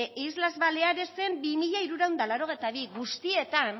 islas balearesen dos mil trescientos ochenta y dos guztietan